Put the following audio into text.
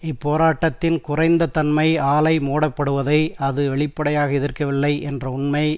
இப்போராட்டத்தின் குறைந்த தன்மை ஆலை மூடப்படுவதை அது வெளிப்படாக எதிர்க்கவில்லை என்ற உண்மை